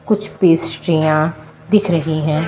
कुछ पैस्ट्रीयां दिख रही हैं।